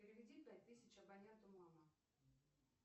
переведи пять тысяч абоненту мама